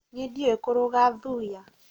niĩ ndiũĩ kũruga thuya